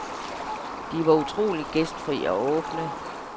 De var utrolig gæstfri og åbne.